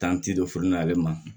furu nalen ma